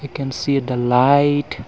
we can see the light.